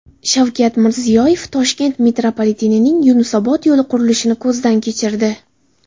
Shavkat Mirziyoyev Toshkent metropolitenining Yunusobod yo‘nalishi qurilishini ko‘zdan kechirdi.